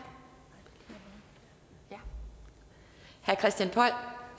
det herre christian poll